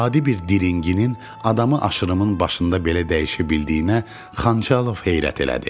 Adi bir diringinin adamı aşırımın başında belə dəyişə bildiyinə Xançalov heyrət elədi.